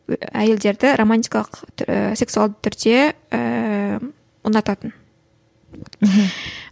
і әйелдерді романтикалық сексуалды түрде ііі ұнататын мхм